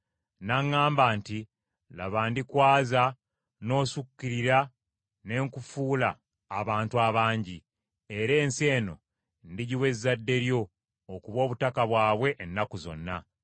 N’aŋŋamba nti, ‘Laba, ndikwaza n’osukkirira ne nkufuula abantu abangi, era ensi eno ndigiwa ezzadde lyo okuba obutaka bwabwe ennaku zonna.’